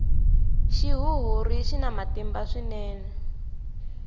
xihuhuri xina matimba swinene